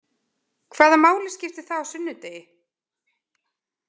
Hvaða máli skiptir það á sunnudegi?